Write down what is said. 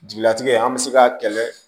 Jigilatigɛ an bɛ se ka kɛlɛ